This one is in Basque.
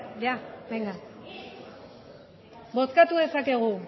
bozkatu dezakegu